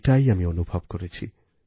এটাই আমি অনুভব করেছি